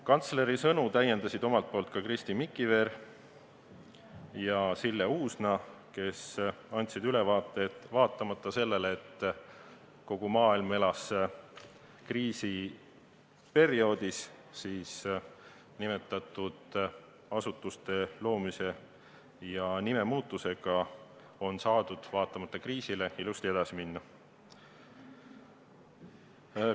Kantsleri sõnu täiendasid Kristi Mikiver ja Sille Uusna, kes andsid ülevaate, et vaatamata sellele, et kogu maailm elas kriisiperioodis, on nende asutuste loomise ja nimemuutusega saadud ilusti edasi minna.